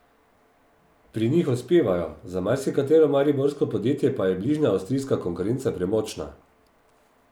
Pri njih uspevajo, za marsikatero mariborsko podjetje pa je bližnja avstrijska konkurenca premočna.